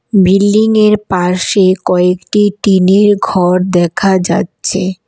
Building -এর পাশে কয়েকটি টিনের ঘর দেখা যাচ্ছে।